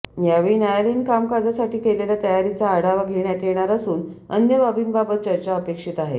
यावेळी न्यायालयीन कामकाजासाठी केलेल्या तयारीचा आढावा घेण्यात येणार असून अन्य बाबींबाबत चर्चा अपेक्षित आहे